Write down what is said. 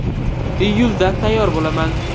Iyulda tayyor bo‘laman.